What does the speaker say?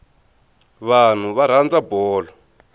vanhu va rhandza bolo